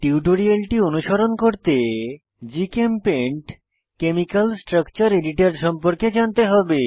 টিউটোরিয়ালটি অনুসরণ করতে জিচেমপেইন্ট কেমিকাল স্ট্রাকচার এডিটর সম্পর্কে জানতে হবে